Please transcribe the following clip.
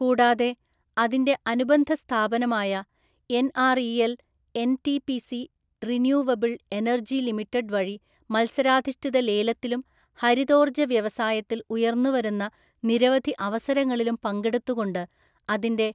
കൂടാതെ അതിന്റെ അനുബന്ധ സ്ഥാപനമായ NREL NTPC renewable energy limited വഴി മത്സരാധിഷ്ഠിത ലേലത്തിലും ഹരിതോർജ വ്യവസായത്തിൽ ഉയർന്നുവരുന്ന നിരവധി അവസരങ്ങളിലും പങ്കെടുത്തുകൊണ്ട് അതിന്റെ